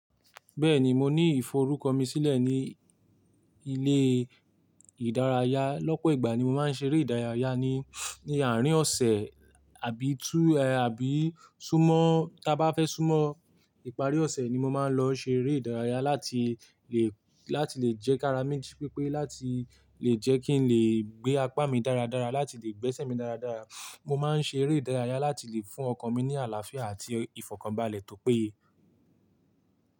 Bẹ́ẹ̀ni, mo ní ìforúkọ mi sílẹ̀ ní ilé ìdárayá. Lọ́pọ̀ ìgbà ni mo máa ń ṣeré ìdárayá ní àárín ọ̀sẹ̀ àbí tú àbí súnmọ́ tí a bá fẹ́ súnmọ́ ìparí ọ̀sẹ̀ ni mo máa ń lọ ṣeré ìdárayá láti lè jẹ́ kí ara mi jípépé láti lè jẹ́ kín lè gbé apá mi dáradára láti lè gbẹ́sẹ̀ mi dáradára. Mo máa ń ṣe eré ìdárayá láti lè fún ọkan mi ní àlàáfíà àti ìfọ̀kànbalẹ̀ tó péye.